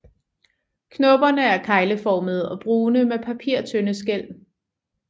Knopperne er kegleformede og brune med papirtynde skæl